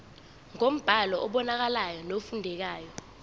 ngombhalo obonakalayo nofundekayo